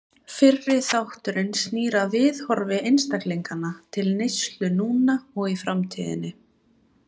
Fyrri þátturinn snýr að viðhorfi einstaklinganna til neyslu núna og í framtíðinni.